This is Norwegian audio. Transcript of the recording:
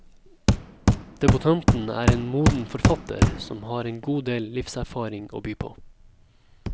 Debutanten er en moden forfatter som har en god del livserfaring å by på.